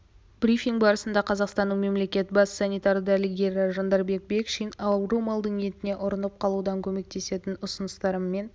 брифинг барысында қазақстанның мемлекеттік бас саитарлы дәрігері жандарбек бекшин ауру малдың етіне ұрынып қалудан көмектесетін ұсыныстармымен